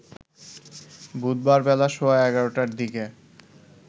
বুধবার বেলা সোয়া ১১টার দিকে